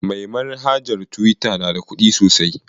Mai manhajar tuwita na da ƙuɗi sosai.